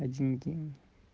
один день